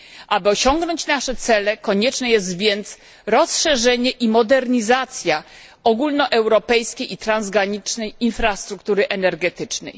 Aby osiągnąć nasze cele, konieczne jest więc rozszerzenie i modernizacja ogólnoeuropejskiej i transgranicznej infrastruktury energetycznej.